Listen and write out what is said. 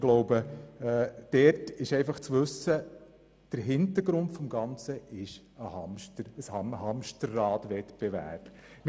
Ich glaube, es ist wichtig zu wissen, dass der Hintergrund ein «Hamsterrad-Wettbewerb» ist.